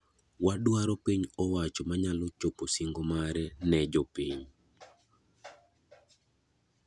Wadwaro piny owacho manyalo chopo sing'o mare ne jopiny.